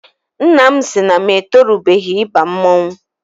Nna m sị na m etorubeghị ịba mmọnwụ.